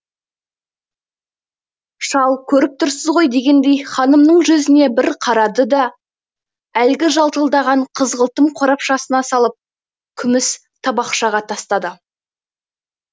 шал көріп тұрсыз ғой дегендей ханымның жүзіне бір қарады да әлгі жалтылдаған қызғылтым қорапшасына салып күміс табақшаға тастады